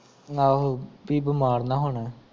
ਆਹੋ ਵੀ ਬਿਮਾਰ ਨ ਹੋਣ